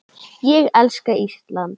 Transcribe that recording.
Ég elska Ísland!